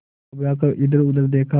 घबरा कर इधरउधर देखा